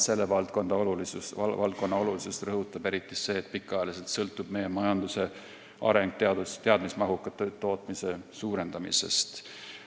Selle valdkonna olulisust rõhutab eriti see, et pikaajaliselt sõltub meie majanduse areng teadmismahuka tootmise suurendamisest.